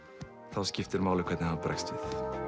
þá skiptir máli hvernig hann bregst við